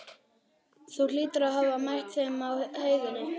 Þú hlýtur að hafa mætt þeim á heiðinni.